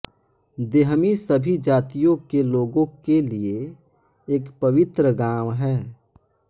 देहमी सभी जातियों के लोगों के लिए एक पवित्र गांव है